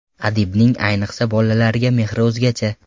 Adibning, ayniqsa bolalarga mehri o‘zgacha.